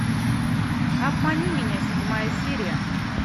обмани меня седьмая серия